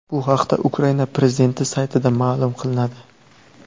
Bu haqda Ukraina prezidenti saytida ma’lum qilinadi .